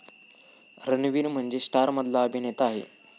रणवीर म्हणजे स्टारमधला अभिनेता आहे.